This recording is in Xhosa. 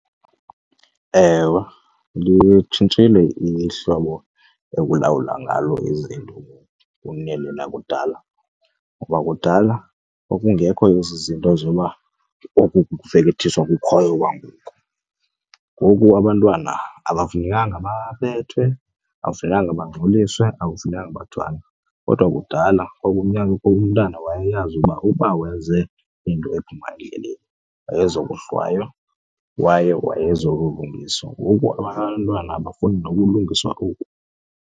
Ewe, litshintshile ihlobo ekulawula ngalo izinto ngoku kuneli lakudala ngokuba bakudala kwakungekho ezi zinto zoba oku kufekethiswa kukhoyo kwangoko. Ngoku abantwana abafanelanga babethwe, akufunekanga bangxoliswe, akufunekanga bathwani kodwa kudala umntana wayeyazi ukuba uba wenze into ephuma endleleni wayezokohlwaywa kwaye wayezokulungiswa. Ngoku abantwana abafuni nokulungiswa oku.